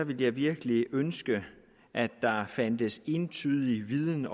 ville jeg virkelig ønske at der fandtes entydig viden